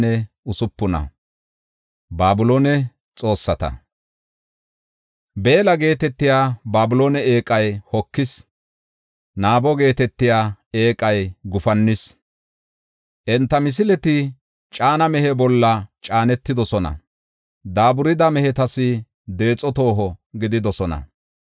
Beella geetetiya Babiloone eeqay hokis; Nebo geetetiya eeqay gufannis. Enta misileti caana mehe bolla caanetidosona; daaburida mehetas deexo tooho gididosona.